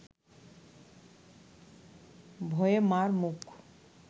ভয়ে মার মুখ